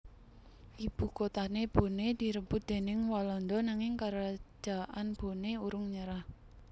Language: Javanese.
Ibukotané Boné direbut déning Walanda nanging Karajaan Boné urung nyerah